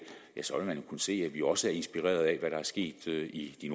så vil man jo kunne se at vi også er inspireret af hvad der er sket i de